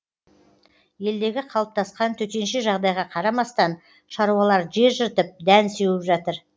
елдегі қалыптасқан төтенше жағдайға қарамастан шаруалар жер жыртып дән сеуіп жатыр